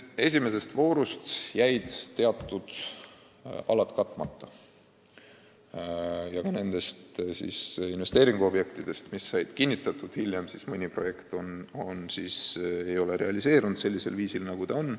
Esimeses voorus jäid teatud alad katmata ja ka nendest investeeringuobjektidest, mis said kinnitatud hiljem, ei ole mõni projekt realiseerunud sellisel viisil, nagu eeldati.